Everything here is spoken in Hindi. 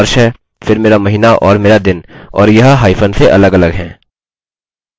यहाँ जब हम अपने डेटाबेस में जाते हैं आप यह देख सकते हैं और users में एक वैल्यू प्रविष्ट करें